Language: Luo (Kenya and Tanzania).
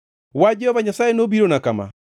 Wach Jehova Nyasaye nobirona kama: